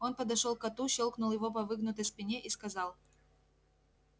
он подошёл к коту щёлкнул его по выгнутой спине и сказал